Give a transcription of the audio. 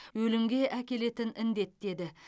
өлімге әкелетін індет деді